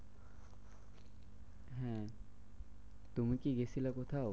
হম তুমি কি গেছিলে কোথাও?